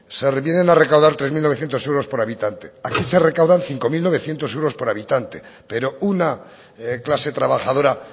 se vienen a recaudar tres mil novecientos euros por habitante aquí se recaudan cinco mil novecientos euros por habitante pero una clase trabajadora